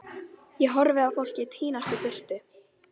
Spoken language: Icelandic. Ég horfi á fólkið tínast í burtu.